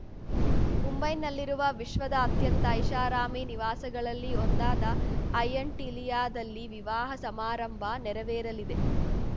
ಮುಂಬೈನಲ್ಲಿರುವ ವಿಶ್ವದ ಅತ್ಯಂತ ಐಷಾರಾಮಿ ನಿವಾಸಗಳಲ್ಲಿ ಒಂದಾದ ಆ್ಯಂಟಿಲಿಯಾದಲ್ಲಿ ವಿವಾಹ ಸಮಾರಂಭ ನೆರವೇರಲಿದೆ